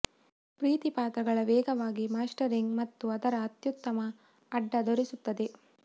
ಪ್ರೀತಿ ಪ್ರಾಣಿಗಳ ವೇಗವಾಗಿ ಮಾಸ್ಟರಿಂಗ್ ಮತ್ತು ಅದರ ಅತ್ಯುತ್ತಮ ಅಡ್ಡ ತೋರಿಸುತ್ತದೆ